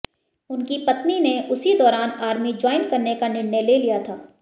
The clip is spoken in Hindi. उनकी पत्नी ने उसी दौरान आर्मी ज्वाइन करने का निर्णय ले लिया था